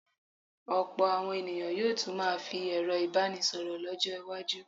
Ọ̀pọ̀ àwọn ènìyàn yóò tún máa fi ẹ̀rọ ìbánisọ̀rọ̀ lọ́jọ́-iwájú.